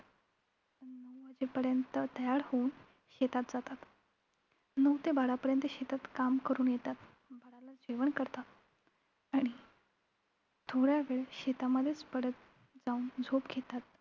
नंतर नऊ वाजेपर्यंत तयार होऊन शेतात जातात. नऊ ते बारा पर्यंत शेतात काम करून येतात. बाराला जेवण करतात आणि थोड्यावेळ शेतामध्येच पडतं जाऊन झोप घेतात